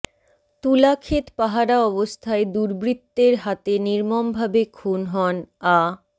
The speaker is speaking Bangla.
তুলা ক্ষেত পাহারা অবস্থায় দুর্বৃত্তের হাতে নির্মম ভাবে খুন হন আ